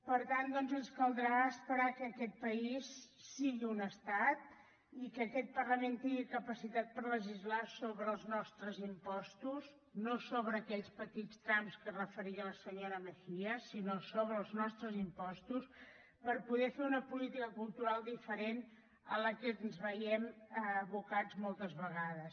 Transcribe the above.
per tant doncs ens caldrà esperar que aquest país sigui un estat i que aquest parlament tingui capacitat per legislar sobre els nostres impostos no sobre aquells petits trams a què es referia la senyora mejías sinó sobre els nostres impostos per poder fer una política cultural diferent a la que ens veiem abocats moltes vegades